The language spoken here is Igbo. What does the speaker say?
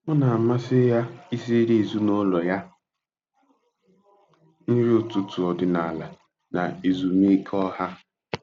Ọ na-amasị ya isiri ezinụlọ ya nri ụtụtụ ọdịnala na ezumike ọha.